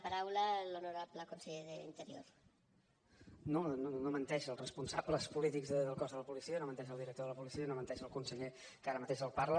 no no menteixen els responsables polítics del cos de la policia no menteix el director de la policia no menteix el conseller que ara mateix li parla